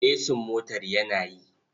Esin motar yana yi.